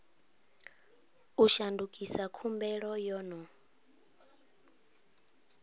u shandukisa khumbelo yo no